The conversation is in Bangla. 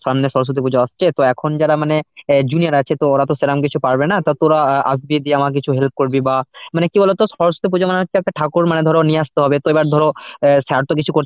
সামনে সরস্বতী পূজা আসছে তো এখন যারা মানে junior আছে তো ওরা তো সেরকম কিছু পারবে না তো তোরা আসবি দিয়ে আমার কিছু help করবি বা মানে কি বলতো সরস্বতী পুজো মানে একটা ঠাকুর মানে ধরে নিয়ে আসতে হবে। তো এবার ধরো অ্যাঁ sir তো কিছু করতে